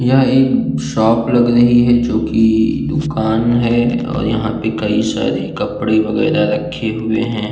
यहाँ एक शॉप लग रही है जो कि दुकान है और यहाँ पर कई सारे कपड़े वगैरा रखे हुए हैं।